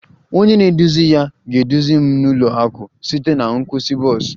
Onye na-eduzi ya ga-eduzi m n'ụlọ akụ site na nkwụsị bọs